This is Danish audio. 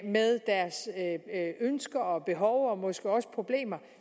med ønsker og behov og måske også problemer og